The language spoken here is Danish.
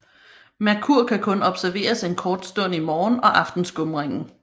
Merkur kan kun observeres en kort stund i morgen og aftenskumringen